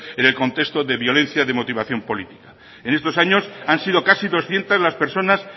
en el contexto de violencia de motivación política en estos años han sido casi doscientos las personas